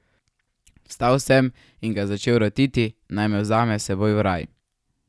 Vstal sem in ga začel rotiti, naj me vzame s seboj v raj.